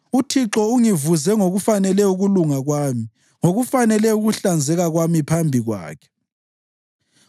UThixo ungivuze ngokufanele ukulunga kwami; ngokufanele ukuhlanzeka kwami phambi kwakhe.